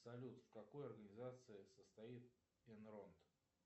салют в какой организации состоит инронт